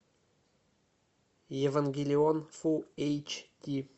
евангелион фулл эйч ди